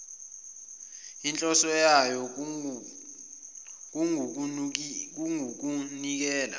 enhloso yayo kungukunikela